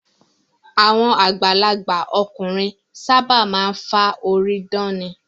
Àwọn àgbàlagbà ọkùnrin ṣábà máa ń fá orí dán ni.